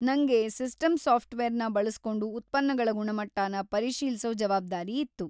ನಂಗೆ ಸಿಸ್ಟಮ್ ಸಾಫ್ಟ್‌ವೇರ್‌ನ ಬಳಸ್ಕೊಂಡು ಉತ್ಪನ್ನಗಳ ಗುಣಮಟ್ಟನ ಪರಿಶೀಲ್ಸೋ ಜವಾಬ್ದಾರಿ ಇತ್ತು.